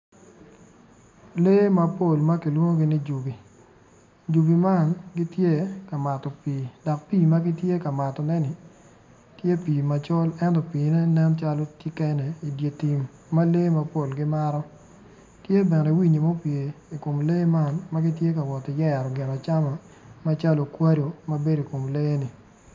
Lee mapol ma kilwongi ni jubi jubi man gitye ka mato pii dok pii man tye pii macol ento piine nen calo tye kene i di tim ma lee mapol gimato tye bene winyi ma gupye i kom lee man ma gin ti ka woti yero gin acama macalo okwado mabedo i kom lee-ni